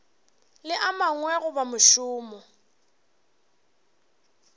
le a mangwe goba mošomo